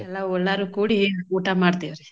ಎಲ್ಲಾ ಒಲ್ಲಾರು ಕೂಡಿ ಊಟಾ ಮಾಡ್ತೇವ್ರಿ.